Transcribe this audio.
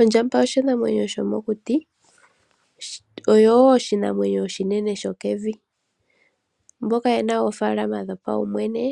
Ondjamaba oshinamwenyo shomokuti. Oyo wo oshinamwenyo oshinene sho kevi. Mboka yena oofaalama dhopaumwene